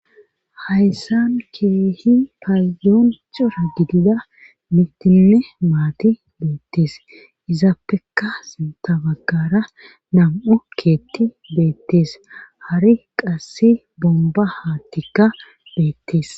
Hayssan keehi payyooncora gidida mitine maati beettees izaappeka sintabagara nam'u keetti beettees hari qasse bomba haa tikka beettees